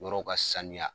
Yɔrɔw ka sanuya